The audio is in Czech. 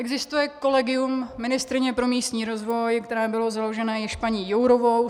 Existuje kolegium ministryně pro místní rozvoj, které bylo založeno již paní Jourovou.